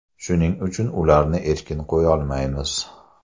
Shuning uchun, ularni erkin qo‘yolmaymiz.